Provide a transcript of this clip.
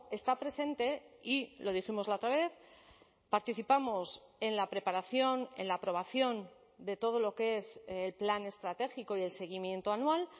está presente y lo dijimos la otra vez participamos en la preparación en la aprobación de todo lo que es el plan estratégico y el seguimiento anual